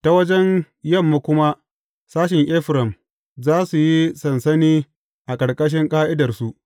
Ta wajen yamma kuma sashen Efraim za su yi sansani a ƙarƙashin ƙa’idarsu.